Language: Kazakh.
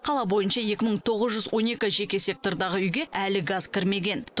қала бойынша екі мың тоғыз жүз он екі жеке сектордағы үйге әлі газ кірмеген